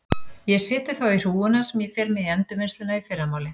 Ég set þau þá í hrúguna sem ég fer með í endurvinnsluna í fyrramálið.